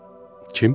Kim?